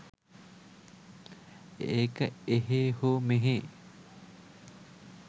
ඒක එහේ හෝ මෙහේ